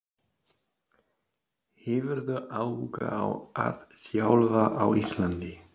Hefurðu áhuga á að þjálfa á Íslandi?